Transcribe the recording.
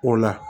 O la